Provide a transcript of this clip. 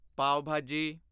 ਪਾਵ ਭਾਜੀ